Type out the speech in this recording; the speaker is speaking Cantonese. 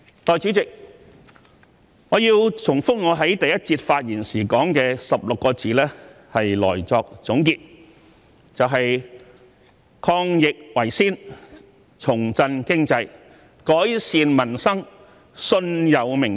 代理主席，我要重複我在第一個辯論環節發言時說的16個字作總結，就是"抗疫為先，重振經濟，改善民生，信有明天"。